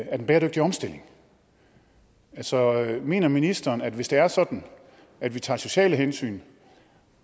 af den bæredygtige omstilling altså mener ministeren at hvis det er sådan at vi tager sociale hensyn